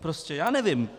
Prostě já nevím.